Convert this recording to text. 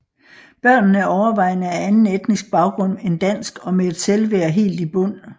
Børnene er overvejende af anden etnisk baggrund end dansk og med et selvværd helt i bund